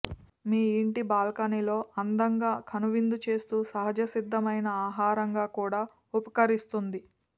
మీ ఇంటి బాల్కానీలో అందంగా కనువిందుచేస్తూ సహజ సిద్ధమైన ఆహారంగా కూడా ఉపకరిస్తోంది